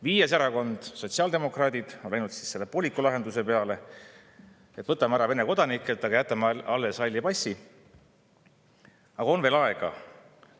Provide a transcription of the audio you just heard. Viies erakond, sotsiaaldemokraadid, on läinud pooliku lahenduse peale, et võtame ära Vene kodanikelt, aga jätame alles halli passi.